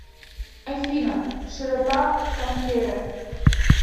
афина широта тампере